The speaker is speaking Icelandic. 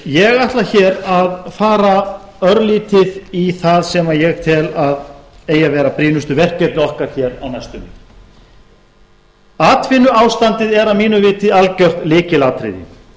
ég ætla hér að fara örlítið í það sem ég tel að eigi að vera brýnustu verkefni okkar hér á næstunni atvinnuástandið er að mínu viti algjört lykilatriði